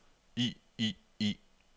i i i